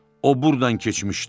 O burdan keçmişdi.